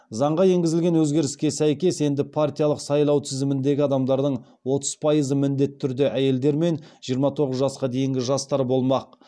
заңға енгізілген өзгеріске сәйкес енді партиялық сайлау тізіміндегі адамдардың отыз пайызы міндетті түрде әйелдер мен жиырма тоғыз жасқа дейінгі жастар болмақ